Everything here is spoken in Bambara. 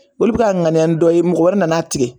Olu bi ka ŋaniya ni dɔ ye mɔgɔ wɛrɛ nana tigɛ